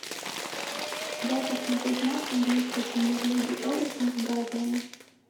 дай посмотреть матч английской премьер лиги эвертон с брайтоном